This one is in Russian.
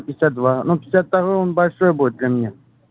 пятьдесят два но пятьдесят второй он большой будет для меня